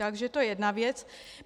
Takže to je jedna věc.